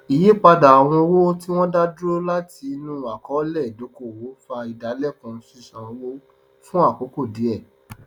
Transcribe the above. ìyípadà àwọn owó tí wọn dá dúró láti inú àkọọlẹ ìdókòwò fa ìdálẹkùn ṣíṣán owó fun àkókò díẹ